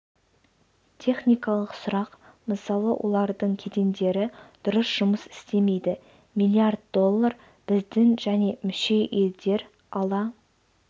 техникалық сұрақ мысалы олардың кедендері дұрыс жұмыс істемейді миллиард доллар біздің және мүше елдер ала